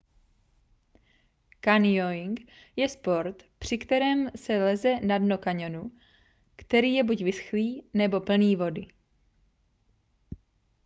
canyoning je sport při kterém se leze na dno kaňonu který je buď vyschlý nebo plný vody